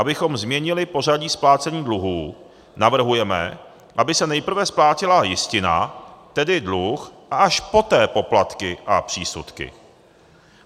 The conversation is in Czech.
Abychom změnili pořadí splácení dluhů, navrhujeme, aby se nejprve splácela jistina, tedy dluh, a až poté poplatky a přísudky.